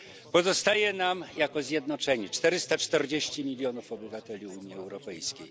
Pozostaje nam zjednoczonych 440 milionów obywateli Unii Europejskiej.